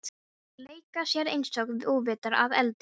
Þeir leika sér einsog óvitar að eldinum.